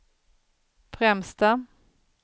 främsta